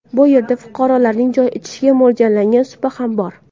Bu yerda fuqarolarning choy ichishiga mo‘ljallangan supa ham bor .